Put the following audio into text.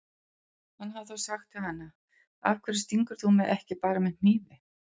Hann hefði þá sagt við hana: Af hverju stingur þú mig ekki bara með hnífi?